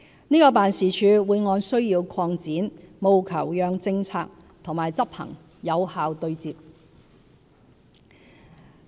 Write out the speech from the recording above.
這個辦事處會按需要擴展，務求讓政策和執行有效對接。